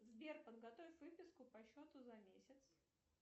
сбер подготовь выписку по счету за месяц